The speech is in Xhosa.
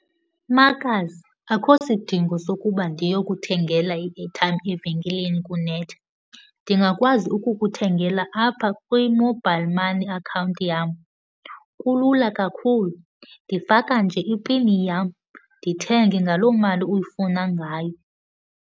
Makazi, akho sidingo sokuba ndiyokuthengela i-airtime evenkileni kunetha. Ndingakwazi ukukuthengela apha kwi-mobile money account yam, kulula kakhulu. Ndifaka nje ipin yam, ndithenge ngaloo mali uyifuna ngayo.